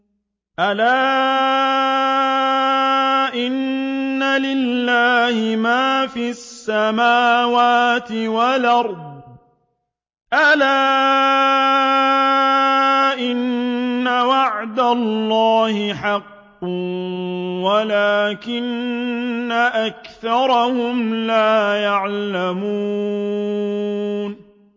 أَلَا إِنَّ لِلَّهِ مَا فِي السَّمَاوَاتِ وَالْأَرْضِ ۗ أَلَا إِنَّ وَعْدَ اللَّهِ حَقٌّ وَلَٰكِنَّ أَكْثَرَهُمْ لَا يَعْلَمُونَ